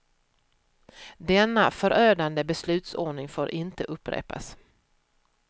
Denna förödande beslutsordning får inte upprepas.